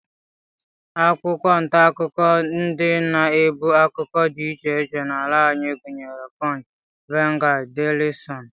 Akwụkwọ ntaakụkọ ndị na-ebu akụkọ dị iche iche n'ala anyị gụnyere punch, vanguard, daily sun